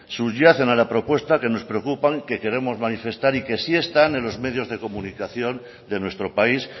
subyacen a la propuesta que nos preocupan que queremos manifestar y que si están en los medios de comunicación de nuestro país